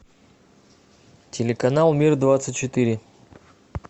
телеканал мир двадцать четыре